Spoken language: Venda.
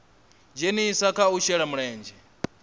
dzhenisa kha u shela mulenzhe